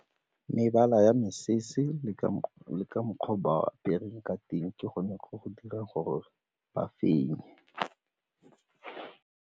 Mebala ya mesese le ka mokgwa o ba apereng ka teng ke gone go go dirang gore ba fenye.